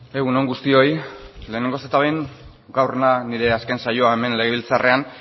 egun on guztioi lehenengo eta behin gaur da nire azken saioa hemen legebiltzarrean